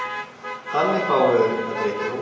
Þannig fáum við aukna breidd í hópinn.